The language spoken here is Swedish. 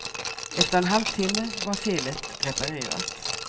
Efter en halvtimme var felet reparerat.